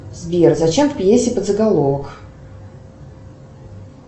сбер зачем в пьесе подзаголовок